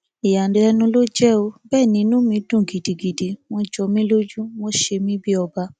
ìyàlẹnu ló jẹ ó bẹẹ ni inú mi dùn gidigidi wọn jọ mí lójú wọn ṣe mí bíi ọba